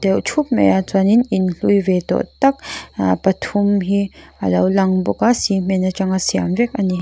deuh thup maia chuanin in hlui ve tawh tak aaa pathum hi a lo lang bawk a cement atanga siam vek a ni.